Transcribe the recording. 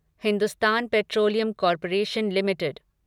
Hindustan petroleum corporation limited